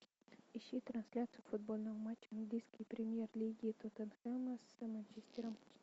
ищи трансляцию футбольного матча английской премьер лиги тоттенхэма с манчестером